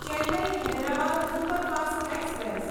Chennai Hyderabad superfast express